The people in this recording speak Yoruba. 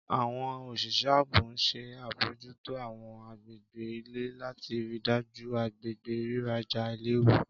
Àwọn oṣiṣẹ aabo n ṣe abojuto àwọn agbegbe ile lati rii daju agbegbe riraja ailewu.